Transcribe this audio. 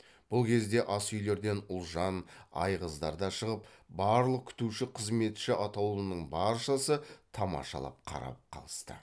бұл кезде ас үйлерден ұлжан айғыздар да шығып барлық күтуші қызметші атаулының баршасы тамашалап қарап қалысты